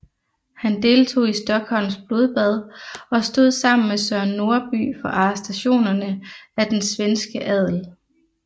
Han deltog i Stockholms blodbad og stod sammen med Søren Norby for arrestationerne af den svenske adel